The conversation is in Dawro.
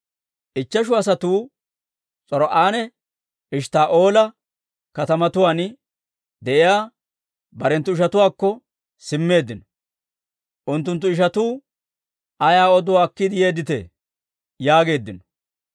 Ichcheshu asatuu S'or"anne Eshttaa'oola katamatuwaan de'iyaa barenttu ishatuwaakko simmeeddino; unttunttu ishatuu, «Ayaa oduwaa akkiide yeedditee?» yaageeddino.